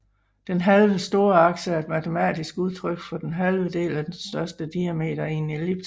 Den halve storakse er et matematisk udtryk for den halve del af den største diameter i en ellipse